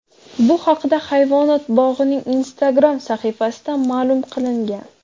Bu haqda hayvonot bog‘ining Instagram sahifasida ma’lum qilingan .